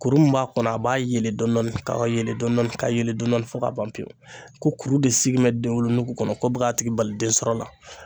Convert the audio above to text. Kuru min b'a kɔnɔ a b'a yelen dɔɔɔnin ka yelen dɔɔnin ka yelen dɔɔnin fo ka ban pewu ko kuru de sigi bɛ denwolonugu kɔnɔ ko bɛ k'a tigi bali den sɔrɔ la.